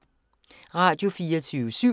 Radio24syv